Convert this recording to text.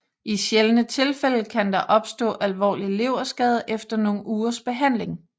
I sjældne tilfælde kan der opstå alvorlig leverskade efter nogle ugers behandling